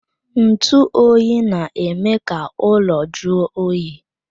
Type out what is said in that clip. Ntu oyi na-eme ka ụlọ jụọ oyi.